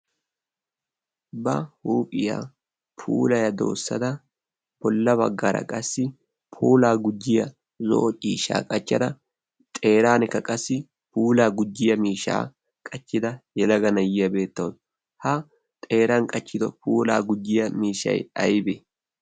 ba huuphiyaa pulaya ootissada bolla baggara qassi pulaa gujyiya zoo ciishaa qachchada xerankka qassi puulaa gujjiya miishaa qachchida yelaga nayyiyaa beettawu. ha xeeran qachchido puulaa gujyiya miishai aibee?